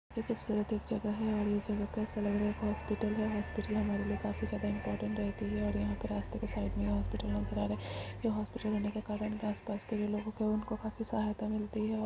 ये खूबसूरत एक जगह है और ये जगह पे ऐसा लग रहा है ये हॉस्पिटल है हॉस्पिटल हमारे लिए काफी ज्यादा इंपोर्टेंट रहती है और यहाँ पे रास्ते के सड़क में हॉस्पिटल रहने के कारन हॉस्पिटल रहने के कारन आस पास के लोगो को उनको काफी सहायता मिलती है और --